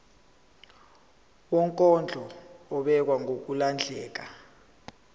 wokondla ubekwa ngokulandlela